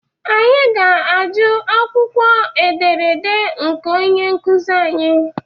Anyị ga-ajụ akwụkwọ ederede nke onye nkuzi